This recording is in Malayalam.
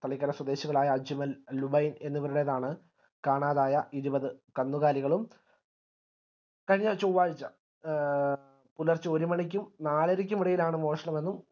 തളിക്കര സ്വദേശികളായ അജ്മൽ ലുബയിൻ എന്നിവരുടേതാണ് കാണാതായ ഇരുപത് കന്നുകാലികളും കഴിഞ്ഞ ചൊവ്വാഴ്ച എ പുലർച്ചെ ഒരുമണിക്കും നാലരക്കും ഇടയിലാണ് മോഷണം എന്നും